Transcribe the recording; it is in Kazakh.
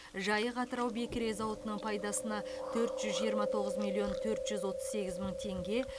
жайық атырау бекіре зауытының пайдасына төрт жүз жиырма тоғыз миллион төрт жүз отыз сегіз мың теңге